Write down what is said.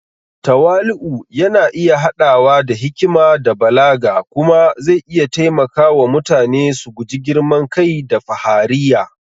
Tawali’u yana iya haɗawa da hikima da balaga kuma zai iya taimaka wa mutane su guji girman kai da fahariya.